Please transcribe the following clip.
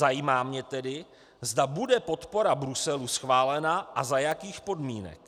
Zajímá mě tedy, zda bude podpora Bruselu schválena a za jakých podmínek.